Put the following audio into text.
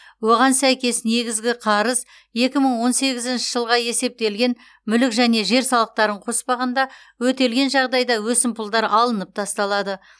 оған сәйкес негізгі қарыз екі мың он сегізінші жылға есептелген мүлік және жер салықтарын қоспағанда өтелген жағдайда өсімпұлдар алынып тасталады